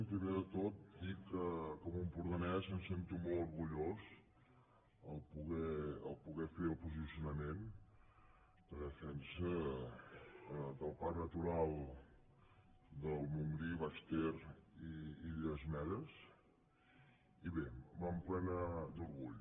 primer de tot dir que com a empordanès em sento molt orgullós al poder fer el posicionament de defensa del parc natural del montgrí les illes medes i el baix ter i bé m’emple·na d’orgull